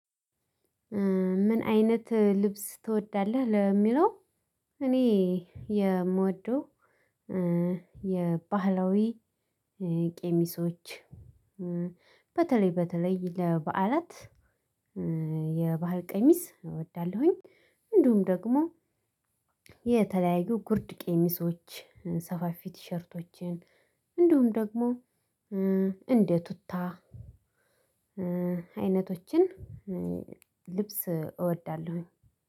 ምን አይነት ልብስ ትወዳለህ ለሚለው? እኔ የምወደው የባህላዊ ቄሚሶች በተለይ በተለይ ለበዓላት የባህል ቀሚስ እወዳለሁኝ። እንዲሁም ደግሞ የተለያዩ ጉርድ ቄሚሶች ሰፋፊ ቲሸርቶችን እንዲውም ደግሞ እንደ ቱታ አይነቶችን ልብስ እወዳለሁኝ።